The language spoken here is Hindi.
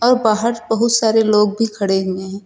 और बाहर बहुत सारे लोग भी खड़े हुए हैं।